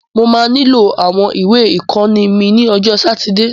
Mo máa nílò àwọn ìwé ìkọ́ni mí ní ọjọ́ sátidé.